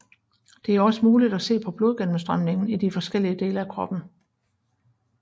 Det er også muligt at se på blodgennemstrømningen i de forskellige dele af kroppen